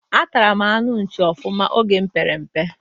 Atara m anụ nchi ofụma oge mụ pere mpe